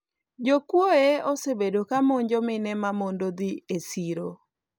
jokuoye osebedo ka monjo mine ma mondo dhi e siro